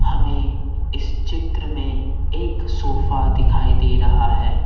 हमें इस चित्र में एक सोफा दिखाई दे रहा है।